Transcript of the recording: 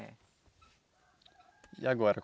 E agora?